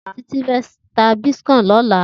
Titi fè tá bitkòin lòlá